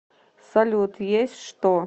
салют есть что